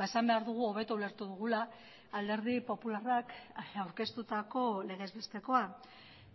esan behar dugu hobeto ulertu dugula alderdi popularrak aurkeztutako legez bestekoa